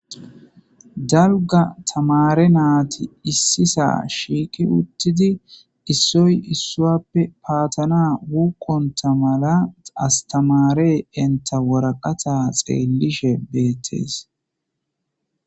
dalga tamare naati issisa shiiqi uttidi issoy issuappe paatana wukqonta mala astamare enta woraqata xeelishe beettees